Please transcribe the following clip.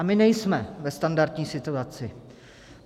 A my nejsme ve standardní situaci.